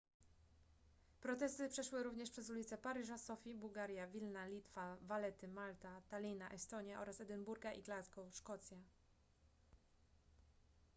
protesty przeszły również przez ulice paryża sofii bułgaria wilna litwa valetty malta tallina estonia oraz edynburga i glasgow szkocja